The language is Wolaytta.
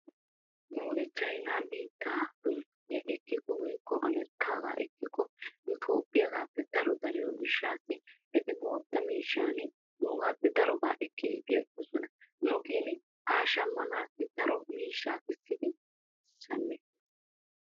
Nuuni chayinaa meeziyaa ekkiko woykko amerikkaagaa ekkiko nu toophphiyagappe daro dariyoo giishshawu eti guutta miishshan nuugaappe daruwaa ekkidi bi aggoosona. nu gin haa shammanaassi daro miishshaa kessidi shammeettees.